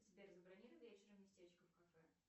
сбер забронируй вечером местечко в кафе